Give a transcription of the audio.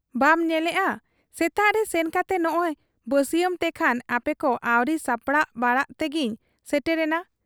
ᱵᱟᱢ ᱧᱮᱞᱮᱜ ᱟ ᱥᱮᱛᱟᱜᱨᱮ ᱥᱮᱱ ᱠᱟᱛᱮ ᱱᱚᱸᱜᱻᱚᱭ ᱵᱟᱹᱥᱤᱭᱟᱹᱢ ᱛᱮᱠᱷᱟᱱ ᱟᱯᱮᱠᱚ ᱟᱹᱣᱨᱤ ᱥᱟᱯᱲᱟᱟᱣ ᱵᱟᱲᱟᱜ ᱛᱮᱜᱮᱧ ᱥᱮᱴᱮᱨᱮᱱᱟ ᱾